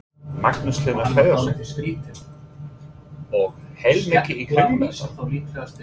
Magnús Hlynur Hreiðarsson: Og heilmikið í kringum þetta?